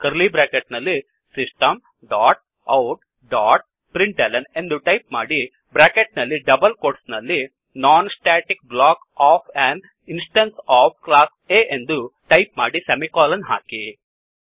curly bracket ನಲ್ಲಿ system dot out dot printlnಎಂದು type ಮಾಡಿ ಬ್ರ್ಯಾಕೆಟ್ ನಲ್ಲಿ ಡಬಲ್ ಕೋಟ್ಸ್ ನಲ್ಲಿ non static block of an instance of class A ಎಂದು ಟೈಪ್ ಮಾಡಿ ಸೆಮಿಕೋಲನ್ ಹಾಕಿ